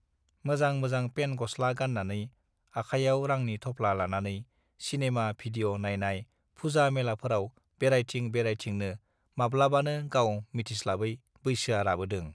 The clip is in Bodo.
मोजां मोजां पेन गस् ला गाननानै आखाइयाव रांनि थफ्ला लानानै सिनेमा भिडिअ नाइनाय फुजा मेलाफोराव बेरायथिं बेरायथिंनो माब् लाबानो गाव मिथिस् लाबै बैसोआ राबोदों